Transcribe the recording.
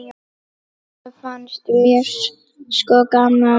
Þetta fannst mér sko gaman.